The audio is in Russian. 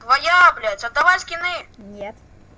твоя блять отдавай скины нет